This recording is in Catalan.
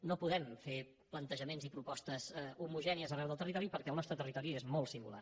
no podem fer plantejaments i propostes homogènies arreu del territori perquè el nostre territori és molt singular